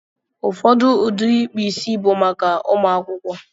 Ụfọdụ ụdị ịkpụ isi bụ maka ụmụ akwụkwọ.